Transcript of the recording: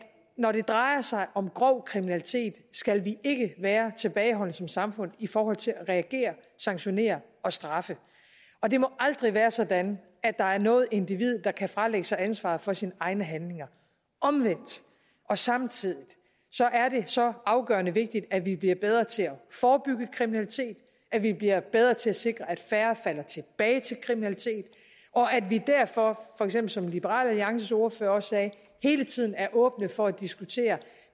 når det drejer sig om grov kriminalitet skal vi ikke være tilbageholdende som samfund i forhold til at reagere sanktionere og straffe og det må aldrig være sådan at der er noget individ der kan fralægge sig ansvaret for sine egne handlinger omvendt og samtidig er det så afgørende vigtigt at vi bliver bedre til at forebygge kriminalitet at vi bliver bedre til at sikre at færre falder tilbage i kriminalitet og at vi derfor for eksempel som liberal alliances ordfører også sagde hele tiden er åbne for at diskutere